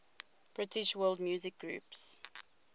british world music groups